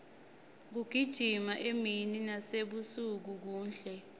kugijima emini nasebusuku kuhle